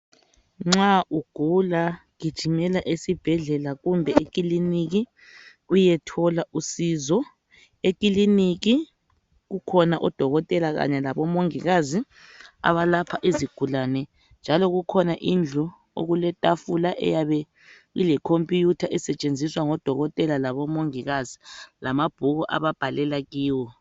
Nxa ugula gijimela esibhedlela kumbe ekiliniki uyethola usizo ekiliniki kukhona odokotela kanye labomongikazi abalapha izigulane njalo kukhona indlu okuletafula eyabe ileComputer esetshenziswa ngodokotela labomongikazi lamabhuku ababhalela kiwo.